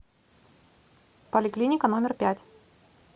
поликлиника номер пять